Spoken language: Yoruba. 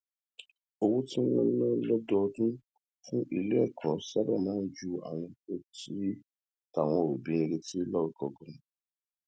owó tí wón ń ná lódọọdún fún ilé èkó sábà máa ń ju ohun táwọn òbí ń retí lọ ganan